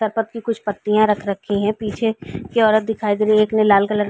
तपक की कुछ पत्तियां रख रखी हैं। पीछे यह औरत दिखाई दे रही है। एक ने लाल कलर --